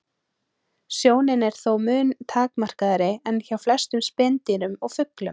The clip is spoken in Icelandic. Sjónin er þó mun takmarkaðri en hjá flestum spendýrum og fuglum.